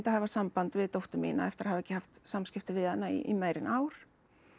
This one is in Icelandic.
að hafa samband við dóttur mína eftir að hafa ekki haft samskipti við hana í meira en ár